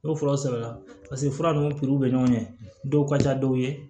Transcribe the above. N'o furaw sɛbɛnna paseke fura ninnu bɛ ɲɔgɔn ɲɛ dɔw ka ca dɔw ye